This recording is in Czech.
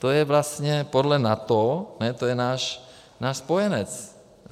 to je vlastně podle NATO, to je náš spojenec.